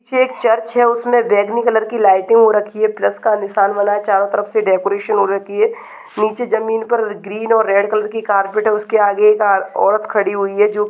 --नीचे एक चर्च है उसमें बैगनी कलर की लाइट रखी है चारों तरफ से डेकोरेशन और रखी है नीचे ग्रेन और रेड कलर की कारपेट है उसके आगे एक औरत खड़ी हुई है जो--